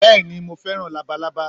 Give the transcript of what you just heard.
Béèni Mo fẹ́ràn Labalábá